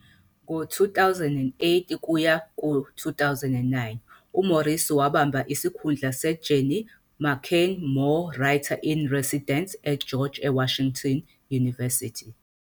Ngo-2008-9 uMorrissy wabamba isikhundla seJenny McKean Moore Writer-in-Residence eGeorge Washington University.